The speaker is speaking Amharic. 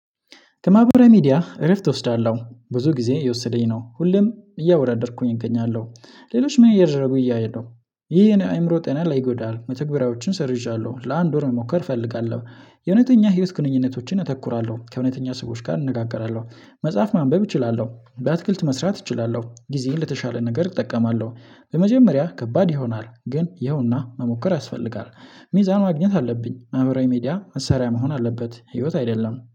ከማህበራዊ ሚዲያ እረፍት እወስዳለዉ። ብዙ ጊዜ የወሰደኝ ነው ሁሌም እያወደደርኩኝ እገኛለው ሌሎች ምን እየደረጉ እያየን ነው። ይህ የኔ አይምሮ ጤና ላይ ይጎዳል። መተግበሪያዎችን ሰርዤዋለው ለአንድ ወር መሞከር እፈልጋለው የእውነተኛ ህይወት ግንኙነቶችን እተኩራለው ከእውነተኛ ሰዎች ጋር እንነጋገራለው መጽሐፍ ማንበብ እችላለው በአትክልት መስራት እችላለው ጊዜን ለተሻለ ነገር እጠቀማለው በመጀመሪያ ከባድ ይሆናል ግን ይኸውና መሞከር ያስፈልጋል። ሚዛን ማግኘት አለብኝ ማህበራዊ ሚዲያ መሳሪያ መሆን አለበት ህይወት አይደለም።